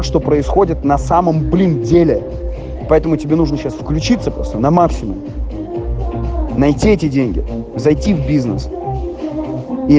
что происходит на самом блин деле поэтому тебе нужно сейчас включиться на максимум найти эти деньги зайти в бизнес и